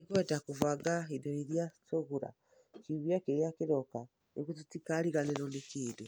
Nĩgwenda kũbanga indo iria tũgũra kiumia kĩrĩa kĩroka nĩguo tũtikariganĩrũo nĩ kĩndũ.